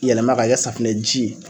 Yɛlɛma k'a kɛ safinɛ ji ye